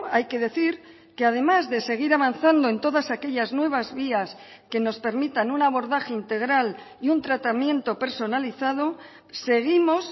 hay que decir que además de seguir avanzando en todas aquellas nuevas vías que nos permitan un abordaje integral y un tratamiento personalizado seguimos